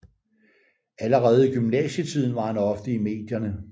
Allerede i gymnasietiden var han ofte i medierne